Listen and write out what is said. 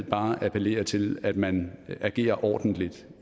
bare appellere til at man agerer ordentligt